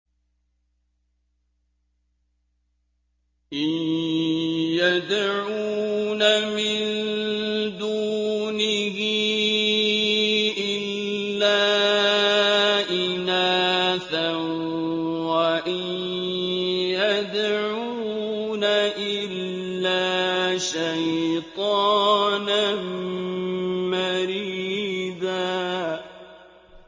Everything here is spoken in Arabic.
إِن يَدْعُونَ مِن دُونِهِ إِلَّا إِنَاثًا وَإِن يَدْعُونَ إِلَّا شَيْطَانًا مَّرِيدًا